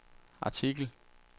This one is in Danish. artikel